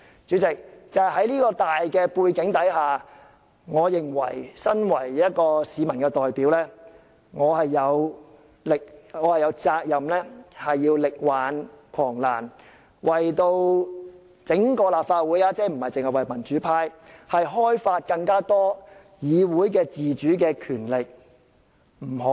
主席，在這種大背景下，身為市民的代表，我認為我有責任力挽狂瀾，不僅為民主派，亦為整個立法會開發更多議會的自主權力。